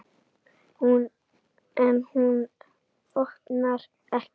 En hún opnar ekki.